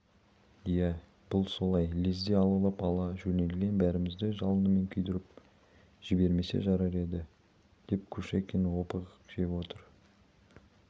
иә бұл солай лезде алаулап ала жөнелген бәрімізді жалынымен күйдіріп жібермесе жарар еді деп кушекин опық жеп отыр